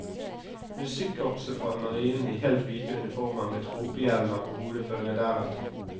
Musikkkorpset fra marinen i helt hvite uniformer med tropehjelmer på hodet følger deretter.